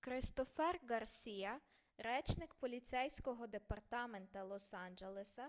кристофер ґарсіа речник поліцейського департамента лос-анджелеса